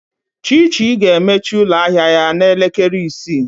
Chichi ga-emechi ụlọ ahịa ya n'elekere isii.